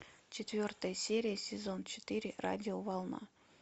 четвертая серия сезон четыре радиоволна